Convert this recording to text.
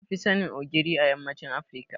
An fi sanin Ogiri a yammacin Afirka.